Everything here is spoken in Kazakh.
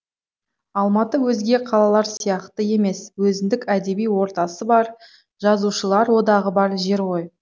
алматы өзге қалалар сияқты емес өзіндік әдеби ортасы бар жазушылар одағы бар жер ғой